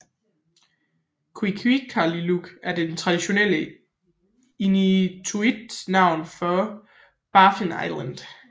Qikiqtaaluk er det traditionelle inuktitut navn for Baffin Island